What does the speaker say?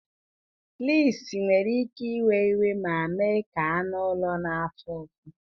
Fleas nwere ike iwe iwe ma mee ka anụ ụlọ na-afụ ụfụ